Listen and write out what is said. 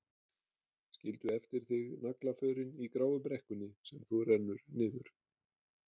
Skildu eftir þig naglaförin í gráu brekkunni sem þú rennur niður.